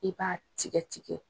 E b'a tigɛ tigɛ